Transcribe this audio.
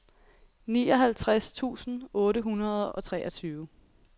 nioghalvtreds tusind otte hundrede og treogtyve